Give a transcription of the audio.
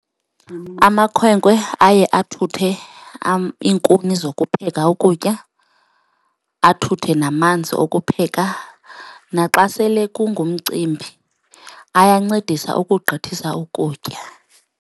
Amakhwenkwe aye athuthe iinkuni zokupheka ukutya, athuthe namanzi okupheka naxa sele kungumcimbi, ayancedisa ukugqithisa ukutya.